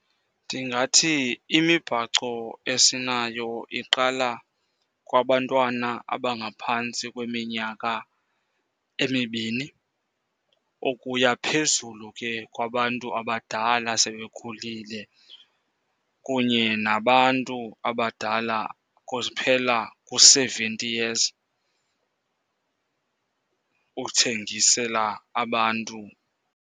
Ndingathi imibhaco esinayo iqala kwabantwana abangaphantsi kweminyaka emibini ukuya phezulu ke kwabantu abadala sebekhulile, kunye nabantu abadala kuphela ku-seventy years uthengisela abantu.